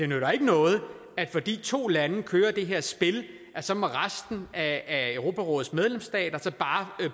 nytter noget at fordi to lande kører det her spil så må resten af europarådets medlemsstater bare